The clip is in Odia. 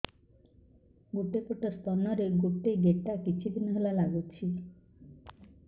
ଗୋଟେ ପଟ ସ୍ତନ ରେ ଗୋଟେ ଗେଟା କିଛି ଦିନ ହେଲା ଲାଗୁଛି